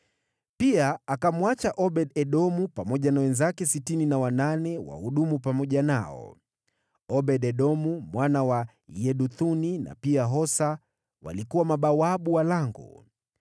Pia akamwacha Obed-Edomu pamoja na wenzake sitini na wanane wahudumu pamoja nao. Obed-Edomu mwana wa Yeduthuni na pia Hosa walikuwa mabawabu wa lango.